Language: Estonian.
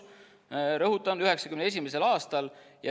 Rõhutan: 1991. aastal.